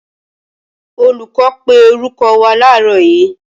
Olùkọ́ pé orúkọ wá làárọ́ yíí